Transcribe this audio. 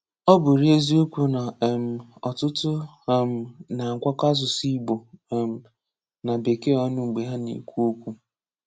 Ọ bụrị eziokwu na um ọtụtụ um na-agwakọ asụsụ Ị̀gbò um na Bekee ọnụ mgbe ha na-ekwu okwu.